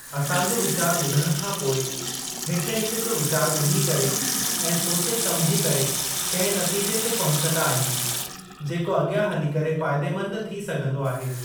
असां जो वीचारु ॿुधण खां पोइ हिक हिक जो वीचारु ॿुधी करे ऐं सोचे समुझी करे कंहिं नतीजे ते पहुचंदा आहियूं जेको अॻियां हली करे फाइदेमंदु थी सघंदो आहे।